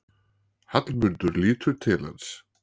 Hallmundur lítur til hans.